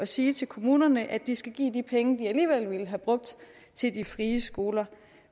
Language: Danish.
sige til kommunerne at de skal give de penge de alligevel ville have brugt til de frie skoler